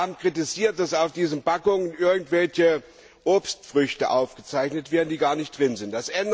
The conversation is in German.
Wir haben kritisiert, dass auf diesen Packungen irgendwelche Obstfrüchte aufgezeichnet werden, die gar nicht drin sind.